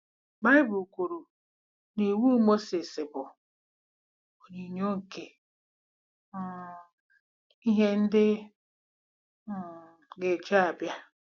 Baịbụl kwuru na Iwu Mozis bụ “ onyinyo nke um ihe ndị um gaje ịbịa.”